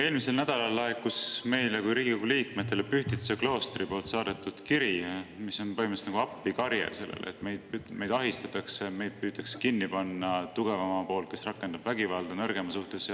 Eelmisel nädalal laekus meile kui Riigikogu liikmetele Pühtitsa kloostri saadetud kiri, mis on põhimõtteliselt nagu appikarje: "Meid ahistatakse, meid püütakse kinni panna tugevama poolt, kes rakendab vägivalda nõrgema suhtes.